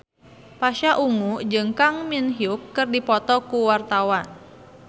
Pasha Ungu jeung Kang Min Hyuk keur dipoto ku wartawan